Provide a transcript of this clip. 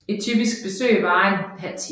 Et typisk besøg varer en halv time